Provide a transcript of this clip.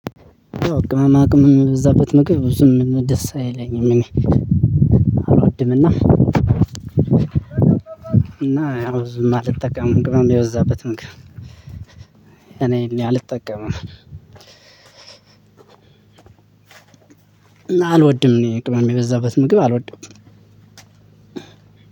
ቅማማ ቅመም የበዛበት ነገር ብዙም ደስ አይለኝም እኔ። አላወድምና እና ብዙም አልጠቀምም የበዛበት ምግብ እኔ አልጠቀምም አልወድም እኔ ቅመም የበዛበት ምግብ አልወድም